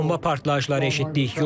Bomba partlayışları eşitdik.